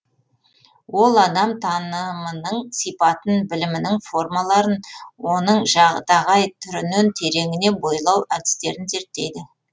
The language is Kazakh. ол адам танымының сипатын білімінің формаларын оның жадағай түрінен тереңіне бойлау әдістерін зерттейді